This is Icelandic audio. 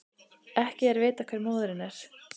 Ekki er vitað hver móðirin er